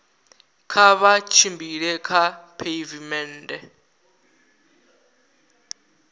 kha vha tshimbile kha pheivimennde